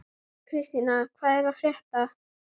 Kristína, hvað er að frétta?